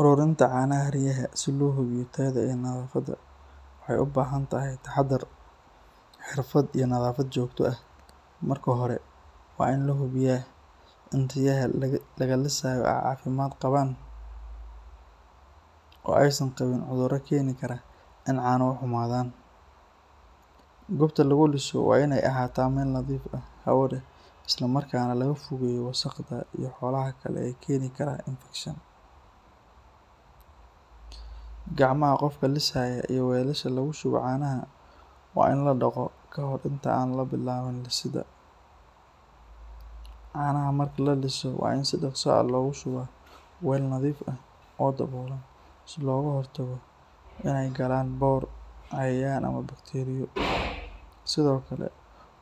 Ururinta canaha riyaha si loo hubiyo tayada iyo nadaafada waxay u baahan tahay taxadar, xirfad iyo nadaafad joogto ah. Marka hore, waa in la hubiyaa in riyaha laga lisayo ay caafimaad qabaan oo aysan qabin cudurro keeni kara in caanuhu xumaadaan. Goobta lagu liso waa in ay ahaataa meel nadiif ah, hawo leh, isla markaana laga fogeeyo wasakhda iyo xoolaha kale ee keeni kara infekshan. Gacmaha qofka lisaya, iyo weelasha lagu shubo caanaha waa in la dhaqo ka hor inta aan la bilaabin lisidda. Caanaha marka la liso waa in si dhaqso ah loogu shubaa weel nadiif ah oo daboolan si looga hortago in ay galaan boor, cayayaan ama bakteeriyo. Sidoo kale,